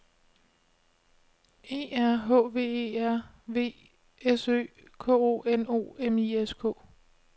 E R H V E R V S Ø K O N O M I S K